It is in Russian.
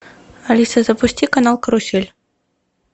алиса запусти канал карусель